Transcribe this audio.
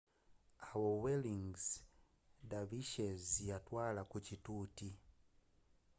awo whirling dervishes yatwaala ku kituuti